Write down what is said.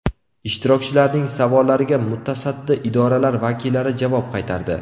Ishtirokchilarning savollariga mutasaddi idoralar vakillari javob qaytardi.